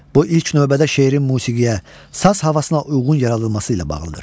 Bu ilk növbədə şeirin musiqiyə, saz havasına uyğun yaradılması ilə bağlıdır.